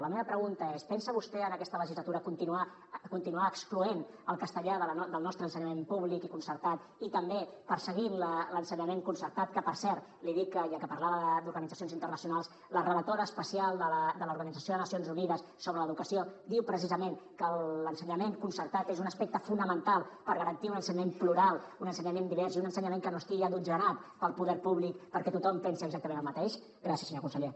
la meva pregunta és pensa vostè en aquesta legislatura continuar excloent el castellà del nostre ensenyament públic i concertat i també perseguir l’ensenyament concertat que per cert li dic que ja que parlava d’organitzacions internacionals la relatora especial de l’organització de nacions unides sobre l’educació diu precisament que l’ensenyament concertat és un aspecte fonamental per garantir un ensenyament plural un ensenyament divers i un ensenyament que no estigui adotzenat pel poder públic perquè tothom pensi exactament el mateix gràcies senyor conseller